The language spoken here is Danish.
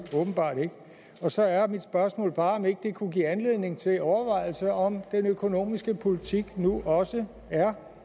og så er mit spørgsmål bare om ikke det kunne give anledning til overvejelser over om den økonomiske politik nu også er